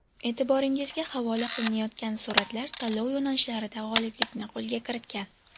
E’tiboringizga havola qilinayotgan suratlar tanlov yo‘nalishlarida g‘oliblikni qo‘lga kiritgan.